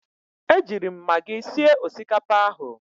Ejiiri m magi sie osikapa ahụ.